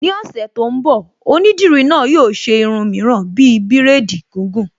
Ní ọ̀sẹ̀ tó ń bọ̀, Onídìrí náà yóò ṣe irun mìíràn bíi bírèdì gìgùn